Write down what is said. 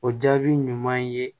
O jaabi ɲuman ye